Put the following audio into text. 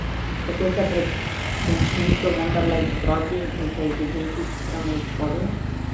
Kako se pred končnico vendarle zbrati in se izogniti hitremu izpadu?